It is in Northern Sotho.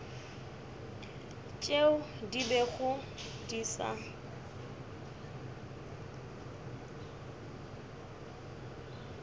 tšeo di bego di sa